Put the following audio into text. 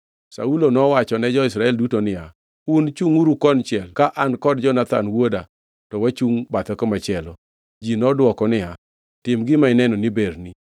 Saulo nowachone jo-Israel duto niya, “Un chungʼuru konchiel ka an kod Jonathan wuoda to wachungʼ bathe komachielo.” Ji nodwoko niya, “Tim gima ineno ni berni.”